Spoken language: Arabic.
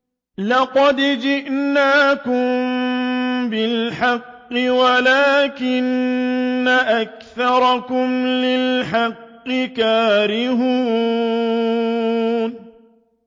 لَقَدْ جِئْنَاكُم بِالْحَقِّ وَلَٰكِنَّ أَكْثَرَكُمْ لِلْحَقِّ كَارِهُونَ